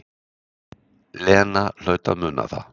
Lena hlaut að muna það.